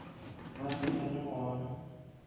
ba be ba le gona